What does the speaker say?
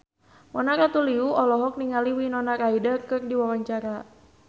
Mona Ratuliu olohok ningali Winona Ryder keur diwawancara